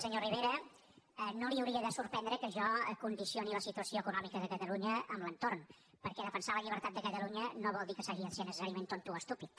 senyor rivera no l’hauria de sorprendre que jo condicioni la situació econòmi ca de catalunya a l’entorn perquè defensar la llibertat de catalunya no vol dir que s’hagi de ser necessàriament tonto o estúpid